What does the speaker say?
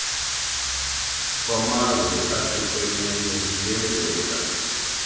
kwamazwe ahlukeneyo ziyenzeka